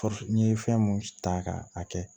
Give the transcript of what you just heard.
n'i ye fɛn mun ta k'a kɛ